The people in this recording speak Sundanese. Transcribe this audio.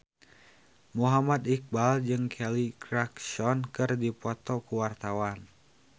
Muhammad Iqbal jeung Kelly Clarkson keur dipoto ku wartawan